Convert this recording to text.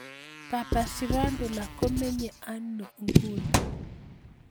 Papa Shirandula komenye aino inguni